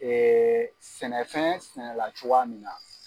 sɛnɛfɛn sɛnɛla cogoya min na